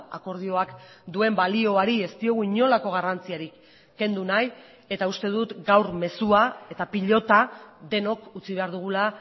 akordioak duen balioari ez diogu inolako garrantzirik kendu nahi eta uste dut gaur mezua eta pilota denok utzi behar dugula